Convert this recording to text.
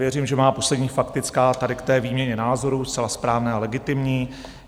Věřím, že má poslední faktická tady k té výměně názorů, zcela správné a legitimní.